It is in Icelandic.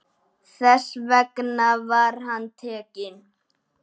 Þess vegna var hann tekinn.